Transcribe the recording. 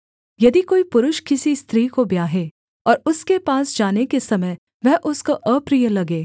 यदि कोई पुरुष किसी स्त्री को ब्याहे और उसके पास जाने के समय वह उसको अप्रिय लगे